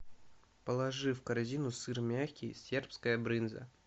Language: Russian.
положи в корзину сыр мягкий сербская брынза